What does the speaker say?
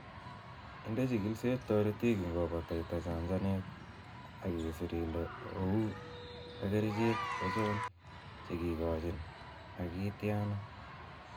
Inde chigilisiet toritik ingobataita chanchanet ak isir ile ou ak kerichek ochon che kikikoochi ak kityaana.